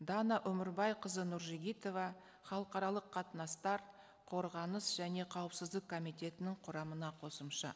дана өмірбайқызы нұржігітова халықаралық қатынастар қорғаныс және қауіпсіздік комитетінің құрамына қосымша